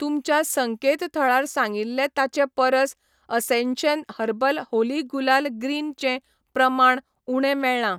तुमच्या संकेतथळार सांगिल्लें ताचे परस Ascension herbal Holi gulal green चें प्रमाण उणें मेळ्ळां.